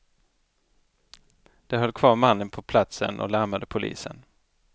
De höll kvar mannen på platsen och larmade polisen.